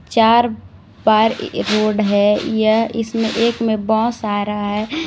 चार बार रोड है यह इसमें एक में बस आ रहा है।